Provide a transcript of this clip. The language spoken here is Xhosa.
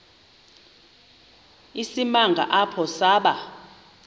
isimanga apho saba